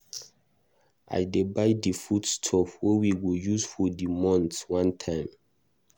I dey buy di food stuff wey we go use for di month one time.